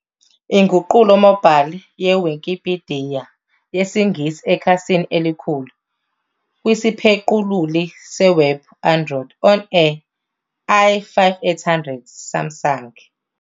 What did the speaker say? Inguqulo mobile yeWikipidiya yesiNgisi eKhasini elikhulu kwisiphequluli sewebhu Android on a i5800 Samsung